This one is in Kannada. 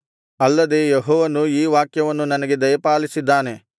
ಅಲ್ಲದೆ ಯೆಹೋವನು ಈ ವಾಕ್ಯವನ್ನು ನನಗೆ ದಯಪಾಲಿಸಿದ್ದಾನೆ